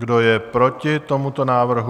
Kdo je proti tomuto návrhu?